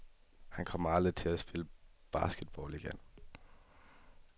Han kommer aldrig til at spille basketball igen.